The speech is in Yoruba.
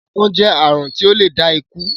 akàn jẹ àrùn tí o lẹ dá ikù.